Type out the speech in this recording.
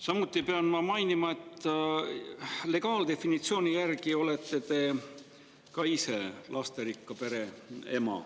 Samuti pean mainima, et legaaldefinitsiooni järgi olete te ka ise lasterikka pere ema.